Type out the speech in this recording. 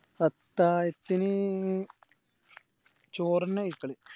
അത്തായതിന് ചോറെന്നെയാ കയ്ക്കല്